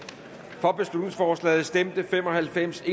for beslutningsforslaget stemte fem og halvfems